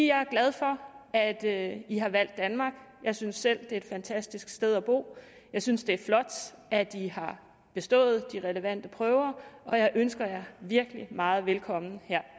jeg er glad for at at i har valgt danmark jeg synes selv det er et fantastisk sted at bo jeg synes det er flot at i har bestået de relevante prøver og jeg ønsker jer virkelig meget velkommen her